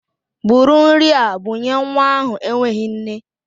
Bụrụ nri a bunye nwa ahụ enweghị nne!